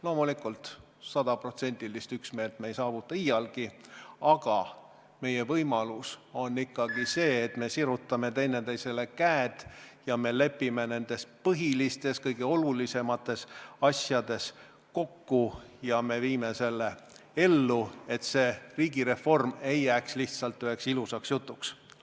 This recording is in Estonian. Loomulikult, sajaprotsendilist üksmeelt ei saavuta me iialgi, aga meie võimalus on ikkagi see, et me sirutame üksteisele käed, lepime nendes põhilistes, kõige olulisemates asjades kokku ja viime ellu selle, et riigireform ei jääks lihtsalt üheks ilusaks jutuks.